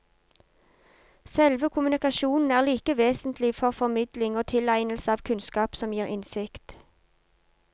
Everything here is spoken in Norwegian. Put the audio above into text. Selve kommunikasjonen er like vesentlig for formidling og tilegnelse av kunnskap som gir innsikt.